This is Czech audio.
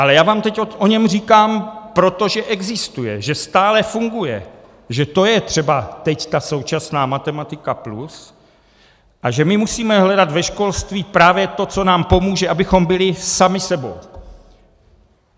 Ale já vám teď o něm říkám, protože existuje, že stále funguje, že to je třeba teď ta současná Matematika+ a že my musíme hledat ve školství právě to, co nám pomůže, abychom byli sami sebou.